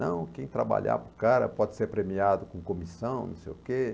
Não, quem trabalhar para o cara pode ser premiado com comissão, não sei o quê.